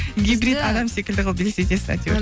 гибрит адам секілді қылып елестетесіз әйтеуір